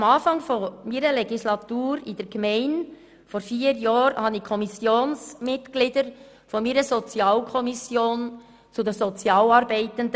Am Anfang meiner Legislaturperiode in der Gemeinde Lyss vor vier Jahren schickte ich die Kommissionsmitglieder der Sozialkommission zu meinen Sozialarbeitenden.